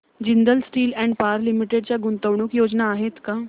Jindal steel and power limited च्या गुंतवणूक योजना आहेत का